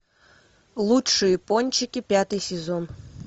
лучшие пончики пятый сезон